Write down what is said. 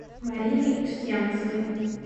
мариной устьянцевой